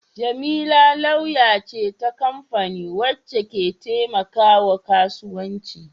Jamila lauya ce ta kamfani wacce ke taimakawa kasuwanci.